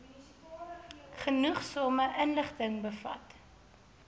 genoegsame inligting bevat